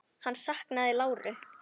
Hann saknaði láru.